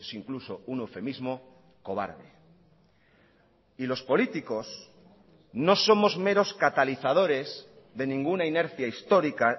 incluso un eufemismo cobarde y los políticos no somos meros catalizadores de ninguna inercia histórica